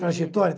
Trajetória.